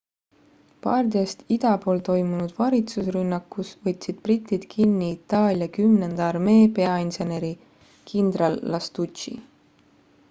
bardiast ida pool toimunud varitsusrünnakus võtsid britid kinni itaalia kümnenda armee peainseneri kindral lastucci